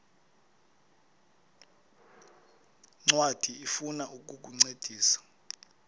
ncwadi ifuna ukukuncedisa